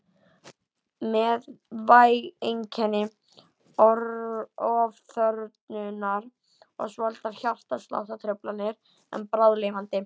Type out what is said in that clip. Með væg einkenni ofþornunar og svolitlar hjartsláttartruflanir en bráðlifandi.